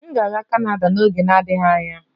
M ga-aga kanada n'oge na-adịghị anya